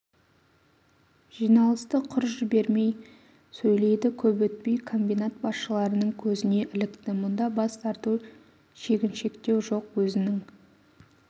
жиналысты құр жібермей сөйлейді көп өтпей комбинат басшыларының көзіне ілікті мұнда бас тарту шегіншектеу жоқ өзінің